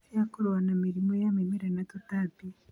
cia kũrũa na mĩrimũ ya mĩmera na tũtambi